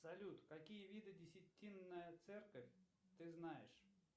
салют какие виды десятинная церковь ты знаешь